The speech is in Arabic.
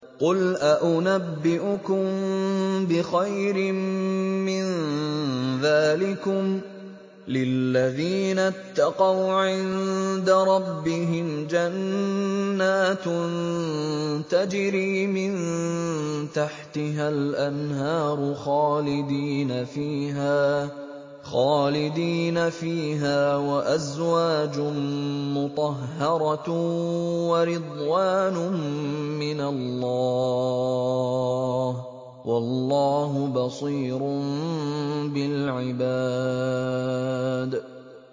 ۞ قُلْ أَؤُنَبِّئُكُم بِخَيْرٍ مِّن ذَٰلِكُمْ ۚ لِلَّذِينَ اتَّقَوْا عِندَ رَبِّهِمْ جَنَّاتٌ تَجْرِي مِن تَحْتِهَا الْأَنْهَارُ خَالِدِينَ فِيهَا وَأَزْوَاجٌ مُّطَهَّرَةٌ وَرِضْوَانٌ مِّنَ اللَّهِ ۗ وَاللَّهُ بَصِيرٌ بِالْعِبَادِ